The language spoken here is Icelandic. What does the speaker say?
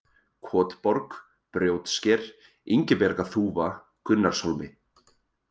Kotborg, Brjótsker, Ingibjargarþúfa, Gunnarshólmi